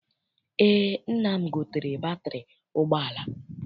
Eé, nna m gotere batịrị ụgbọala.